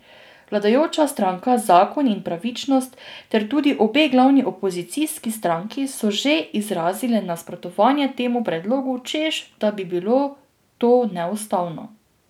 Vladajoča stranka Zakon in pravičnost ter tudi obe glavni opozicijski stranki so že izrazile nasprotovanje temu predlogu, češ da bi bilo to neustavno.